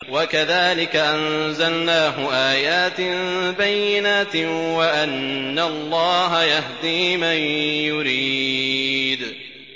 وَكَذَٰلِكَ أَنزَلْنَاهُ آيَاتٍ بَيِّنَاتٍ وَأَنَّ اللَّهَ يَهْدِي مَن يُرِيدُ